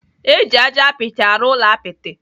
Eji ájá apịtị arụ ụlọ apịtị.